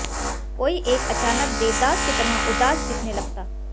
कोई एक अचानक देवदास की तरह उदास दिखने लगता